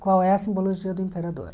Qual é a simbologia do imperador?